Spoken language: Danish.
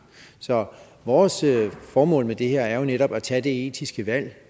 så vores formål med det her er jo netop at tage det etiske valg